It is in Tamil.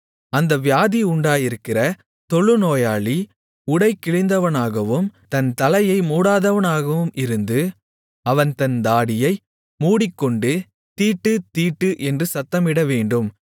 அந்த வியாதி உண்டாயிருக்கிற தொழுநோயாளி உடை கிழிந்தவனாகவும் தன் தலையை மூடாதவனாகவும் இருந்து அவன் தன் தாடியை மூடிக்கொண்டு தீட்டு தீட்டு என்று சத்தமிடவேண்டும்